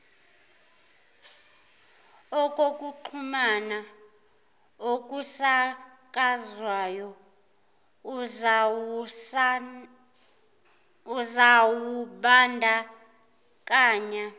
okokuxhumana okusakazwayo uzawubandakanya